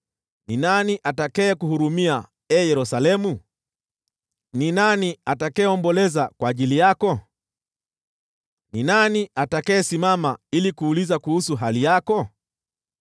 “Ni nani atakayekuhurumia, ee Yerusalemu? Ni nani atakayeomboleza kwa ajili yako? Ni nani atakayesimama ili kuuliza kuhusu hali yako?